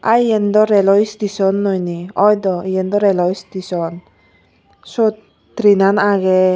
aa iyen dw rail o station noi ni oi dw rail o station sut train an age.